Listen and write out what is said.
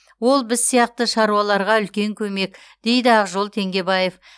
ол біз сияқты шаруаларға үлкен көмек дейді ақжол теңгебаев